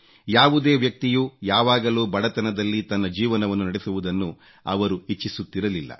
ಯಾವುದೇ ವ್ಯಕ್ತಿಯು ಯಾವಾಗಲೂ ಬಡತನದಲ್ಲಿ ತನ್ನ ಜೀವನವನ್ನು ನಡೆಸುವುದನ್ನು ಅವರು ಇಚ್ಚಿಸುತ್ತಿರಲಿಲ್ಲ